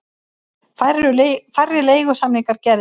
Færri leigusamningar gerðir